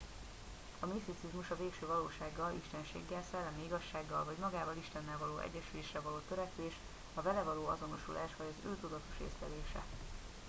a miszticizmus a végső valósággal istenséggel szellemi igazsággal vagy magával istennel való egyesülésre való törekvés a vele való azonosulás vagy az ő tudatos észlelése